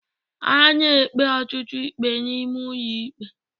A na-ekpe ọtụtụ ikpe n'ime ụlọ ikpe